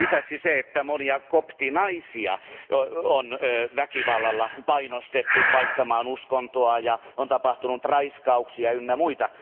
Lisäksi monia koptinaisia on väkivallalla painostettu vaihtamaan uskontoa ja on tapahtunut raiskauksia ynnä muita.